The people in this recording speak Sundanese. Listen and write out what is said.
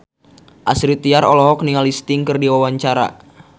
Astrid Tiar olohok ningali Sting keur diwawancara